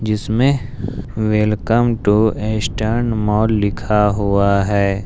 जिसमें welcome to Eastern Mall लिखा हुआ है।